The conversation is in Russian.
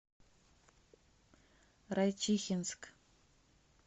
райчихинск